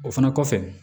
O fana kɔfɛ